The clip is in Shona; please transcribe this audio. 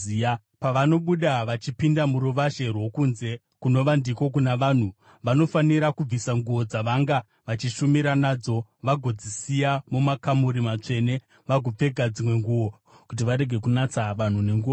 Pavanobuda vachipinda muruvazhe rwokunze kunova ndiko kuna vanhu, vanofanira kubvisa nguo dzavanga vachishumira nadzo vagodzisiya mumakamuri matsvene, vagopfeka dzimwe nguo, kuti varege kunatsa vanhu nenguo dzavo.